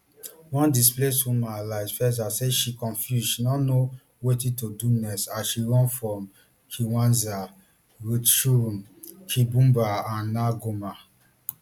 one displaced woman alice feza say she confuse she no know wetin to do next as she run from kiwanja rutshuru kibumba and now goma